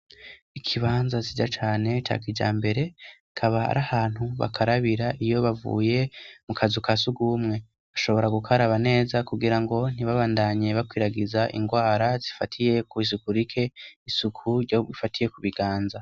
Ikibanza sija cane cakija mbere kaba ri ahantu bakarabira iyo bavuye mu kazuka si ugumwe bashobora gukaraba neza kugira ngo ntibabandanye bakwiragiza ingwara zifatiye ku'isuku rike isuku ryoifatiye ku biganza.